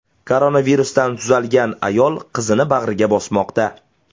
Koronavirusdan tuzalgan ayol qizini bag‘riga bosmoqda.